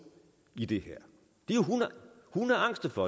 i det her de er hundeangste for